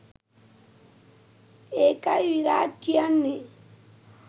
ඒකයි විරාජ් කියන්නේ